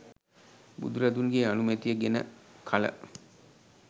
බුදුරදුන්ගේ අනුමැතිය ගෙන කළ